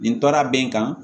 Nin tora be n kan